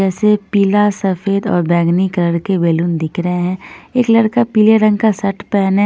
जैसे पीला सफेद और बैंगनी कलर के बैलून दिख रहे हैं एक लड़का पीले रंग का शर्ट पहने--